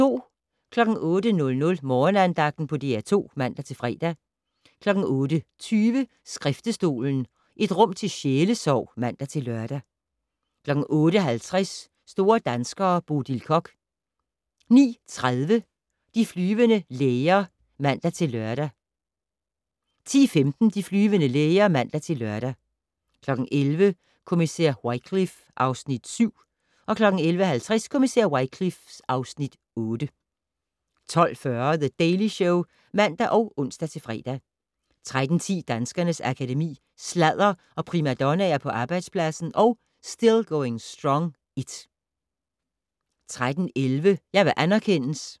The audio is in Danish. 08:00: Morgenandagten på DR2 (man-fre) 08:20: Skriftestolen - et rum til sjælesorg (man-lør) 08:50: Store danskere - Bodil Koch 09:30: De flyvende læger (man-lør) 10:15: De flyvende læger (man-lør) 11:00: Kommissær Wycliffe (Afs. 7) 11:50: Kommissær Wycliffe (Afs. 8) 12:40: The Daily Show (man og ons-fre) 13:10: Danskernes Akademi: Sladder og primadonnaer på arbejdspladsen & Still Going Strong (1) 13:11: Jeg vil anerkendes